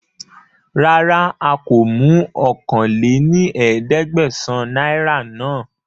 Rárá a kó mú ọ̀kan lé ní ẹ̀ẹ́dẹ́gbẹ́sán náírà náà